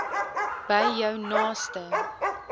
by jou naaste